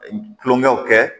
Tulonkɛw kɛ